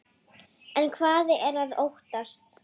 En hvað er að óttast?